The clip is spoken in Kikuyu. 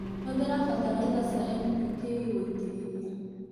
Hũthĩra bataraitha cia NPK gũitĩrĩria.